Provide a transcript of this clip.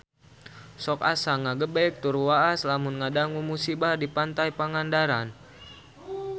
Sok asa ngagebeg tur waas lamun ngadangu musibah di Pantai Pangandaran